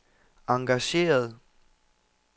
engageret